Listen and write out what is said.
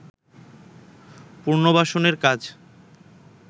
পুনর্বাসনের কাজ